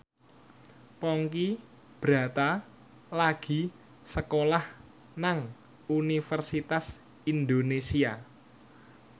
Ponky Brata lagi sekolah nang Universitas Indonesia